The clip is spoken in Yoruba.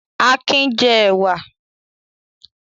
Akin jẹ ẹ̀wà?